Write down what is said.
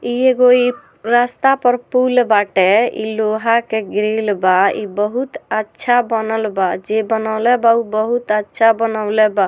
इ एगो बड़रास्ता पर पूल बाटे इ लोहा के ग्रिल बा इ बहुत अच्छा बनल बा जे बनौले बा उ बहुत अच्छा बनौले बा।